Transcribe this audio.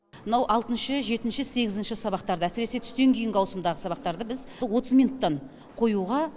мынау алтыншы жетінші сегізінші сабақтарды әсіресе түстен кейінгі ауысымдағы сабақтарды біз отыз минуттан қоюға